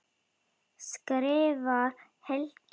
skrifar Helgi.